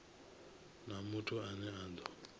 na muthu ane a do